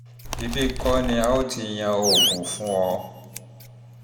ibi kọ́ ni a ó ti yan oògùn fún ọ